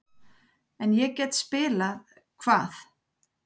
En ég get spilað-Hvað?